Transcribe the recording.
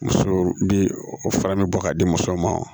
Muso bɛ o fara ne bɔ k'a di musow ma